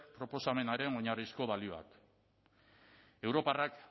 proposamenaren oinarrizko balioak europarrak